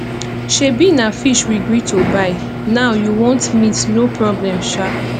shebi na fish we gree to buy now you want meat no problem shaa